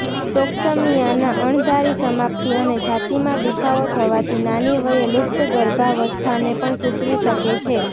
ટોક્સમિયાના અણધારી સમાપ્તિ અને છાતીમાં દુખાવો થવાથી નાની વયે લુપ્ત ગર્ભાવસ્થાને પણ સૂચવી શકે છે